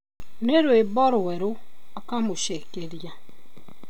"Nĩ rwĩmbo rwero",akamucekeria